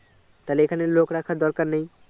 তাহলে এখানে লোক রাখার দরকার নেই